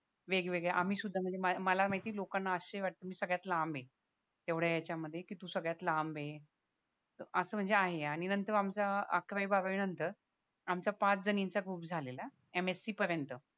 वेगवेगळ्या आम्ही सुद्धा म्हणजे मला माहिती लोकांना आश्चर्य वाटतं मी सगळ्यात लांब ये तेवढ्या याच्यामध्ये की तू सगळ्यात लांब ये असं म्हणजे आहे आणि नंतर म आमचा अकरावी बारावी नंतर आमचा पाच जणी चा ग्रुप झालेला MSC पर्यंत